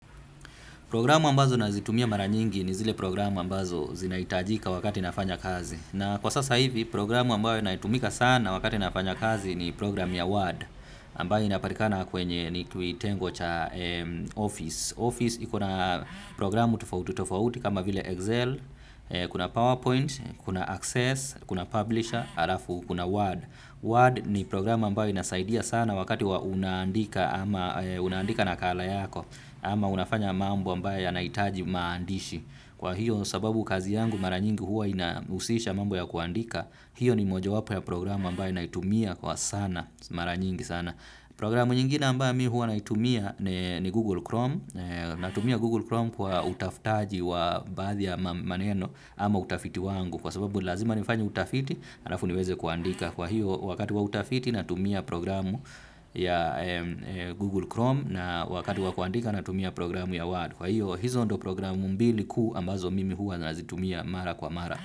Programu ambazo nazitumia mara nyingi ni zile programu ambazo zinaitajika wakati nafanya kazi. Na kwa sasa hivi, programu ambayo naitumika sana wakati nafanya kazi ni programu ya Word. Ambayo inapatikana kwenye ni tuitengo cha Office. Office ikona programu tofauti kama vile Excel, kuna PowerPoint, kuna Access, kuna Publisher, alafu kuna Word. Word ni programu ambayo inasaidia sana wakati wa unandika nakala yako. Ama unafanya mambo ambaye yanaitaji maandishi. Kwa hiyo sababu kazi yangu mara nyingi huwa inausisha mambo ya kuandika. Hiyo ni moja wapo ya programu ambaye anaitumia kwa sana. Mara nyingi sana. Programu nyingine ambaye huwa anaitumia ni Google Chrome. Natumia Google Chrome kwa utafutaji wa bathi ya maneno ama utafiti wangu. Kwa sababu lazima nifanya utafiti, alafu niweze kuandika. Kwa hiyo, wakati wa utafiti natumia programu ya Google Chrome na wakati wa kuandika natumia programu ya Word. Kwa hiyo, hizo ndo programu mbili ku ambazo mimi huwa nazitumia mara kwa mara.